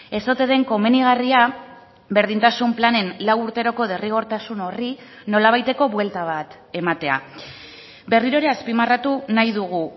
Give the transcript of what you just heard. ez ote den komenigarria berdintasun planen lau urteroko derrigortasun horri nolabaiteko buelta bat ematea berriro ere azpimarratu nahi dugu